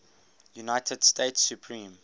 united states supreme